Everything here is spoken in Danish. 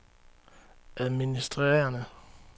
administrerende